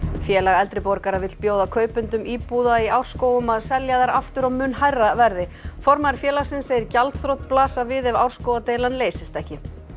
Félag eldri borgara vill bjóða kaupendum íbúða í Árskógum að selja þær aftur á mun hærra verði formaður félagsins segir gjaldþrot blasa við ef leysist ekki